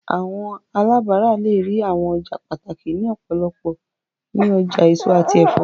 Awọn alabara le rii awọn ọja pataki ni ọpọlọpọ ni ọja eso ati ẹfọ